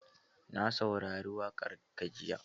Na saurari waƙar ka jiya.